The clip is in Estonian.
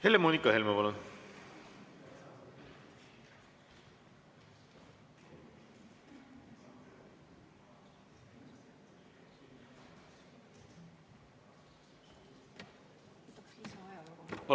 Helle-Moonika Helme, palun!